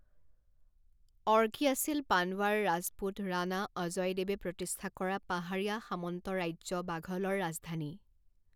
অৰ্কী আছিল পানৱাৰ ৰাজপুত ৰাণা অজয় দেৱে প্ৰতিষ্ঠা কৰা পাহাৰীয়া সামন্ত ৰাজ্য বাঘলৰ ৰাজধানী৷